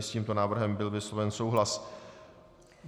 I s tímto návrhem byl vysloven souhlas.